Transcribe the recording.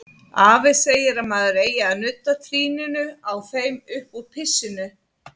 Afi segir að maður eigi að nudda trýninu á þeim uppúr pissinu, sagði